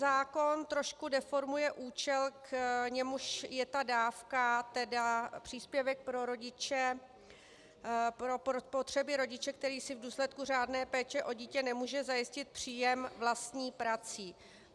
Zákon trošku deformuje účel, k němuž je ta dávka, tedy příspěvek pro rodiče, pro potřeby rodiče, který si v důsledku řádné péče o dítě nemůže zajistit příjem vlastní prací.